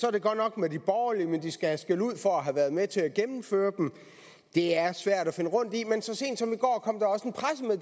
er det godt nok med de borgerlige men de skal have skældud for at have været med til at gennemføre dem det er svært at finde rundt i men så sent som